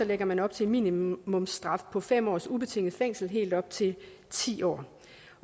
lægger man op til en minimumsstraf på fem års ubetinget fængsel og helt op til ti år